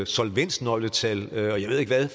solvensnøgletal og jeg ved ikke hvad